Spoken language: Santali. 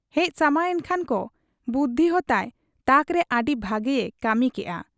ᱦᱮᱡ ᱥᱟᱢᱟᱝ ᱮᱱᱠᱷᱟᱱ ᱠᱚ ᱵᱩᱰᱷᱤ ᱦᱚᱸᱛᱟᱭ ᱛᱟᱠᱨᱮ ᱟᱹᱰᱤ ᱵᱷᱟᱹᱜᱤᱭᱮ ᱠᱟᱹᱢᱤ ᱠᱮᱜ ᱟ ᱾